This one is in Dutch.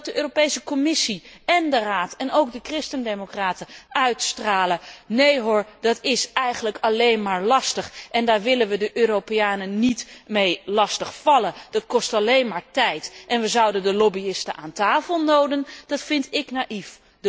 Dat de Commissie en de Raad en ook de christendemocraten uitstralen nee hoor, dat is eigenlijk alleen maar lastig en daar willen we de Europeanen niet mee lastigvallen, dat kost alleen maar tijd en we zouden de lobbyisten aan tafel noden, dat vind ik naïef.